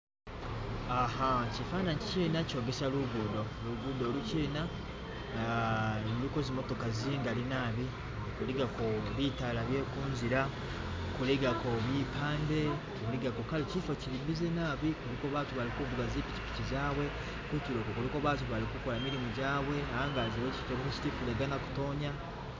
aha chifananyichi china chogesa lugudo, lugudo luchina aa luliko zimotoka zingali nabi kuligako bitala byekunzila kuligakao mipande kuligako kale chifo chili bize naabi kuliko batu bali kuvuga zipichipichi zawe kutuloku kuliko batu balikukola milimo jawe ne angazi chogesa chiti ifula igana kutonya